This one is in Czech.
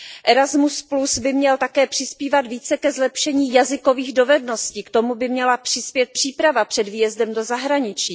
Erasmus by měl také přispívat více ke zlepšení jazykových dovedností, k tomu by měla přispět příprava před výjezdem do zahraničí.